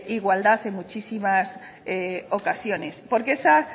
igualdad en muchísimas ocasiones porque esa